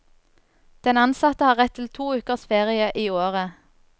Den ansatte har rett til to ukers ferie i året.